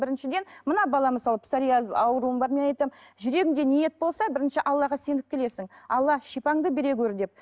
біріншіден мына бала мысалы псориаз ауруым бар мен айтамын жүрегіңде ниет болса бірінші аллаға сеніп келерсің алла шипаңды бере көр деп